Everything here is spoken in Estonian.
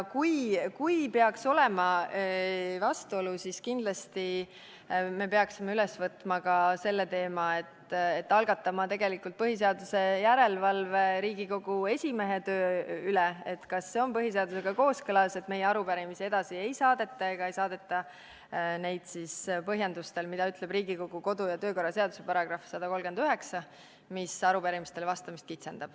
Kui peaks olema vastuolu, siis kindlasti me peaksime üles võtma ka selle teema ja algatama põhiseaduslikkuse järelevalve Riigikogu esimehe töö üle,, kas see on põhiseadusega kooskõlas, et meie arupärimisi edasi ei saadeta, põhjendades seda sellega, mida ütleb Riigikogu kodu- ja töökorra seaduse § 139, mis arupärimistele vastamist kitsendab.